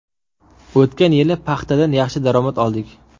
O‘tgan yil paxtadan yaxshi daromad oldik.